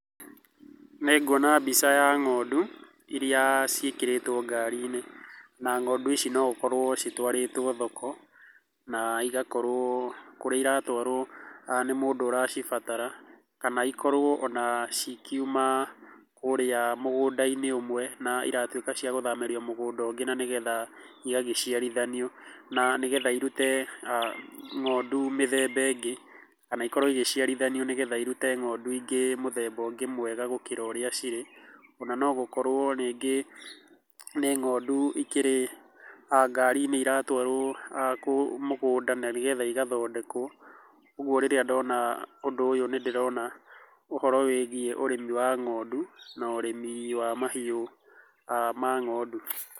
Nĩ ngũona mbica ya ng'ondu irĩa ciĩkĩrĩtwo ngari-inĩ na ng'ondu ici noũkorwo citwarĩtwo thoko na igakorwo kũrĩa iratũarwo nĩ mũndũ ũracimbatara kana ikorwo ona cikĩuma kũrĩa mũgũnda-inĩ ũmwe na ĩratuĩka cia gũthamĩrio mũgũnda ũngĩ na nĩgetha igagĩciarithanio na nĩgetha irũte ng'ondu mĩthemba ĩngĩ kana ikorwo igĩciarithanio nĩgetha irute ng'ondu ingĩ mũthemba mwega gũkĩra ũrĩa cirĩ ona no gũkorwo rĩngĩ nĩ ngondu ikĩrĩ ngari-inĩ iratũarwo mũgũnda na nĩgetha igathondekwo, ũgũo rĩrĩa ndĩrona ũndũ ũyũ nĩ ndĩrona ũhoro wĩgiĩ ũrĩmi wa ng'ondu na ũrĩmi wa mahiũ ma ng'ondu.